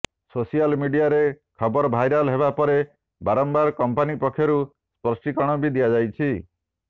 social ମିଡିଆରେ ଖବର viral ହେବା ପରେ ବାରମ୍ବାର କମ୍ପାନୀ ପକ୍ଷରୁ ସ୍ପଷ୍ଟୀକରଣ ବି ଦିଆଯାଇଛି